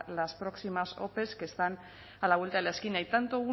las próximas ope que están a la vuelta de la esquina y tanto